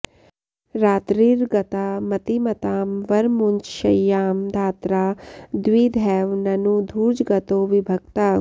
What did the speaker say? रात्रिर्गता मतिमतां वर मुञ्च शय्यां धात्रा द्विधैव ननु धूर्जगतो विभक्ता